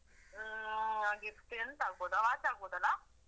ಆಹ್ Gift ಎಂತ ಆಗ್ಬೋದಾ watch ಆಗ್ಬೋದಲ್ಲ?